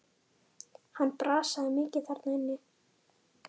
Hann brasaði mikið þar inni.